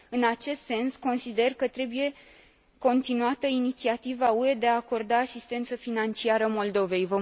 În acest sens, consider că trebuie continuată inițiativa UE de a acorda asistență financiară Moldovei.